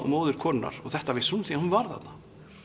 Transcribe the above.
móðir konunnar og þetta vissi hún af því hún var þarna